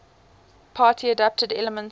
party adapted elements